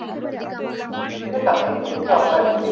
ঠিক আছে? আমি এখান থেকে আপনার request